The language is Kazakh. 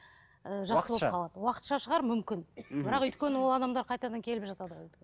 уақытша шығар мүмкін бірақ өйткені ол адамдар қайтадан келіп жатады ғой